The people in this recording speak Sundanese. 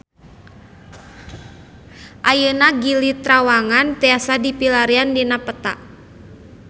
Ayeuna Gili Trawangan tiasa dipilarian dina peta